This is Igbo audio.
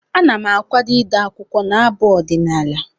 Ana m akwado ide akwụkwọ na abụ ọdịnaala.